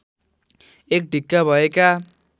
एक ढिक्का भएका